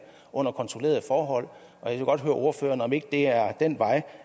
under kontrollerede forhold jeg vil godt høre ordføreren om det ikke er den vej